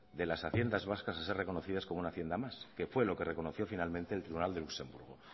de las haciendas vascas a ser reconocidas como una hacienda más que fue lo que reconoció finalmente el tribunal de luxemburgo